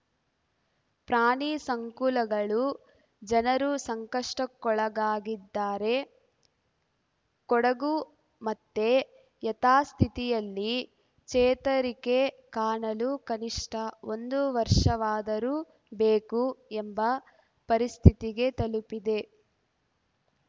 ಪ್ರಾಣಿಸಂಕುಲಗಳು ಜನರು ಸಂಕಷ್ಟಕ್ಕೊಳಗಾಗಿದ್ದಾರೆ ಕೊಡಗು ಮತ್ತೆ ಯಥಾಸ್ಥಿತಿಯಲ್ಲಿ ಚೇತರಿಕೆ ಕಾಣಲು ಕನಿಷ್ಠ ಒಂದು ವರ್ಷವಾದರೂ ಬೇಕು ಎಂಬ ಪರಿಸ್ಥಿತಿಗೆ ತಲುಪಿದೆ